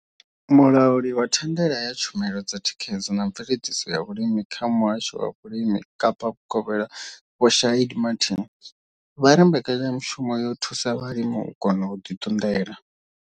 Mulauli wa thandela ya tshumelo dza thikhedzo na mveledziso ya vhulimi kha Muhasho wa Vhulimi Kapa Vhukovhela Vho Shaheed Martin vha ri mbekanya mushumo yo thusa vhalimi u kona u ḓi ṱunḓela.